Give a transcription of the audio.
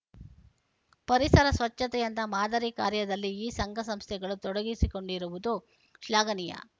ಪರಿಸರ ಸ್ವಚ್ಛತೆಯಂತಹ ಮಾದರಿ ಕಾರ್ಯದಲ್ಲಿ ಈ ಸಂಘಸಂಸ್ಥೆಗಳು ತೊಡಗಿಸಿಕೊಂಡಿರುವುದು ಶ್ಲಾಘನೀಯ